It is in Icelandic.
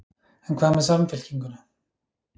En hvað með Samfylkinguna?